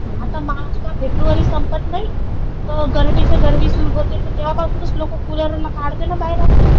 आता मार्च का फेब्रुवारी संपत नाही, त गरमीचे गरमी सुरू होते तर तेव्हापासूनच लोक कुलरला काढते ना बाहेर आपले.